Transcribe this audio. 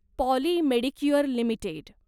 poly Medicure limited